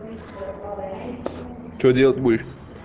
что делать будешь